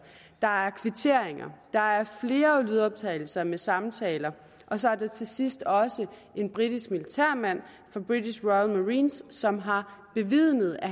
der er kvitteringer der er flere lydoptagelser med samtaler og så er der til sidst også en britisk militærmand fra british marines som har bevidnet at